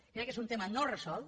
crec que és un tema no resolt